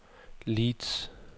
Leeds